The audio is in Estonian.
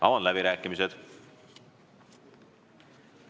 Avan läbirääkimised.